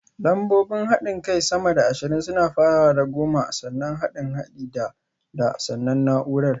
Lambobin haɗin kai sama da ashirin suna farawa da goma, sannan haɗin haɗin da (da), sannan naúrar